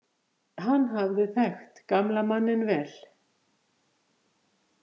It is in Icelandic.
Hann hafði þekkt gamla manninn vel.